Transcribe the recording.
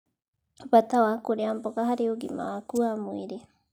Bata wa kũrĩa mboga harĩ ũgima waku wa mwĩrĩ